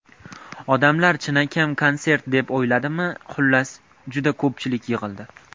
Odamlar chinakam konsert deb o‘yladimi, xullas, juda ko‘pchilik yig‘ildi.